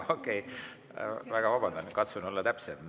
Okei, väga vabandan, katsun olla täpsem.